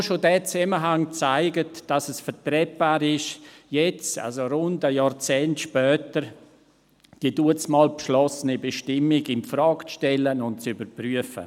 Nur schon dieser Zusammenhang zeigt, dass es vertretbar ist, jetzt – also rund ein Jahrzehnt später – die damals beschlossene Bestimmung infrage zu stellen und zu überprüfen.